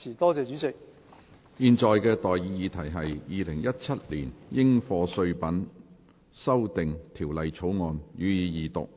我現在向各位提出的待議議題是：《2017年應課稅品條例草案》，予以二讀。